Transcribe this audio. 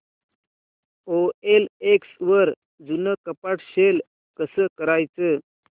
OLX वर जुनं कपाट सेल कसं करायचं